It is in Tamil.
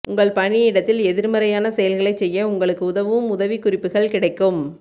உங்கள் பணியிடத்தில் எதிர்மறையான செயல்களைச் செய்ய உங்களுக்கு உதவும் உதவிக்குறிப்புகள் கிடைக்கும்